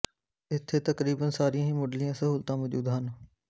ਇੱਥੇ ਤਕਰੀਬਨ ਸਾਰੀਆਂ ਹੀ ਮੁੱਢਲੀਆਂ ਸਹੂਲਤਾਂ ਮੌਜੂਦ ਹਨ